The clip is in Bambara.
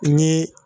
Ni